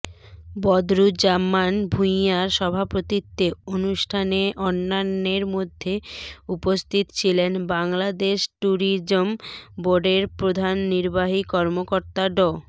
বদরুজ্জামান ভূঁইয়ার সভাপতিত্বে অনুষ্ঠানে অন্যান্যের মধ্যে উপস্থিত ছিলেন বাংলাদেশ ট্যুরিজম বোর্ডের প্রধান নির্বাহী কর্মকর্তা ড